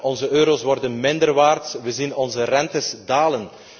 Onze euro's worden minder waard. Wij zien onze rentes dalen.